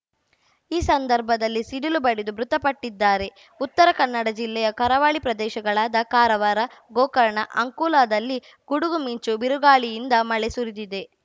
ಈ ಸಂದರ್ಭದಲ್ಲಿ ಸಿಡಿಲು ಬಡಿದು ಮೃತಪಟ್ಟಿದ್ದಾರೆ ಉತ್ತರ ಕನ್ನಡ ಜಿಲ್ಲೆಯ ಕರಾವಳಿ ಪ್ರದೇಶಗಳಾದ ಕಾರವಾರ ಗೋಕರ್ಣ ಅಂಕೋಲಾದಲ್ಲಿ ಗುಡುಗು ಮಿಂಚು ಬಿರುಗಾಳಿಯಿಂದ ಮಳೆ ಸುರಿದಿದೆ